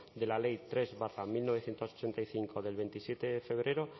de la ley tres barra mil novecientos ochenta y cinco del veintisiete de febrero